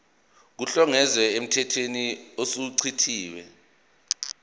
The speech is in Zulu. kuhlongozwe emthethweni osuchithiwe